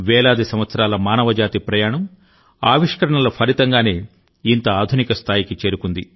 వేలాది సంవత్సరాల మానవజాతి ప్రయాణం ఆవిష్కరణల ఫలితంగానే ఇంత ఆధునిక స్థాయికి చేరుకుంది